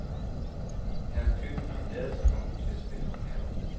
Jeg har købt en lærredspung til at spænde om maven.